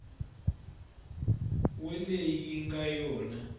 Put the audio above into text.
we leyi yi nga yona